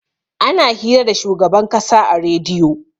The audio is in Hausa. ana hira da shugaban kasa a rediyo